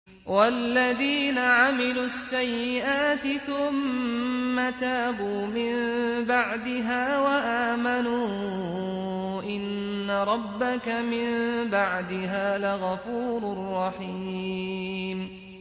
وَالَّذِينَ عَمِلُوا السَّيِّئَاتِ ثُمَّ تَابُوا مِن بَعْدِهَا وَآمَنُوا إِنَّ رَبَّكَ مِن بَعْدِهَا لَغَفُورٌ رَّحِيمٌ